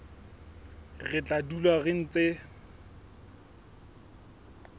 re tla dula re ntse